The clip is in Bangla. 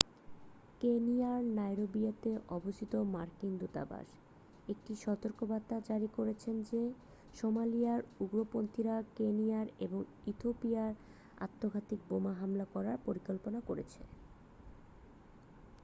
কেনিয়ার নাইরোবিতে অবস্থিত মার্কিন দূতাবাস একটি সতর্কতা জারি করেছে যে সোমালিয়ার উগ্রপন্থীরা কেনিয়া এবং ইথিওপিয়ায় আত্মঘাতী বোমা হামলা করার পরিকল্পনা করছে